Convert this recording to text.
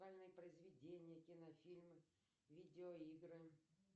произведения кинофильмы видеоигры